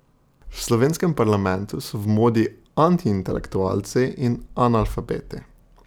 V slovenskem parlamentu so v modi antiintelektualci in analfabeti.